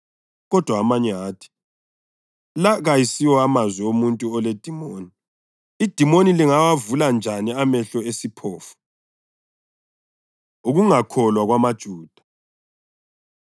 Kodwa amanye athi, “La kayisiwo mazwi omuntu oledimoni. Idimoni lingawavula njani amehlo esiphofu?” Ukungakholwa KwamaJuda